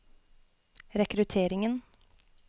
rekrutteringen